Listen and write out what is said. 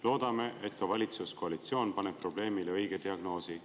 Loodame, et ka valitsuskoalitsioon paneb probleemile õige diagnoosi.